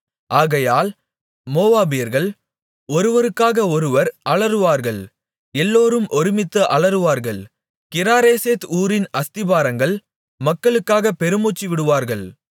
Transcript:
ஆகையால் மோவாபியர்கள் ஒருவருக்காக ஒருவர் அலறுவார்கள் எல்லோரும் ஒருமித்து அலறுவார்கள் கிராரேசேத் ஊரின் அஸ்திபாரங்கள் மக்களுக்காக பெருமூச்சு விடுவார்கள்